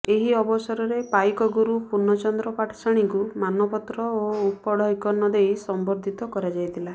ଏହି ଅବସରରେ ପାଇକଗୁରୁ ପୁର୍ଣ୍ଣଚନ୍ଦ୍ର ପାଟ୍ଟଶାଣୀଙ୍କୁ ମାନପତ୍ର ଓ ଉପଢୈକନ ଦେଇ ସମ୍ବର୍ନ୍ଧିତ କରାଯାଇଥିଲା